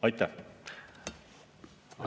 Aitäh!